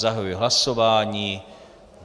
Zahajuji hlasování.